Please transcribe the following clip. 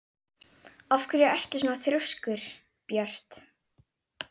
Af hverju ertu svona þrjóskur, Björt?